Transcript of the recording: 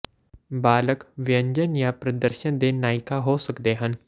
ਬਾਲਗ ਵਿਅੰਜਨ ਜਾਂ ਪ੍ਰਦਰਸ਼ਨ ਦੇ ਨਾਇਕਾਂ ਹੋ ਸਕਦੇ ਹਨ